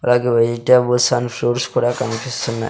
అలాగే vegetables and fruits కూడా కనిపిస్తున్నాయ్.